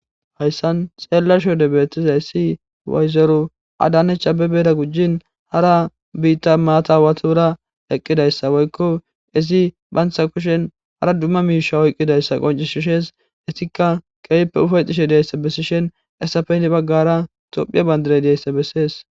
Hayssan xeella shode beetizay si wayzeru adanecha bebeera gujin hara biitta maatawatura eqqidayssa woykko izi bantha kushen hara dumma miisha oyqqidayssa qoncishishees isikka qeeyppe ufayxishe deyssa bessishen esafeyni baggara tophiya bandirey deyssa bessees.